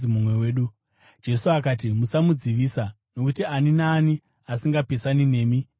Jesu akati, “Musamudzivisa, nokuti ani naani asingapesani nemi ndowenyu.”